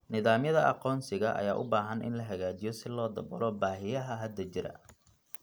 Nidaamyada aqoonsiga ayaa u baahan in la hagaajiyo si loo daboolo baahiyaha hadda jira.